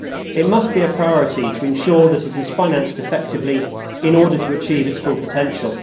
It must be a priority to ensure that it is financed effectively in order to achieve its full potential.